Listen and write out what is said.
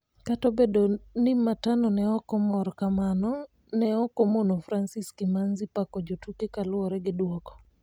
kata obedo ni Matano ne okomor Kamano ne okomono Francis Kimanzi pako jotuke kaluore gi duoko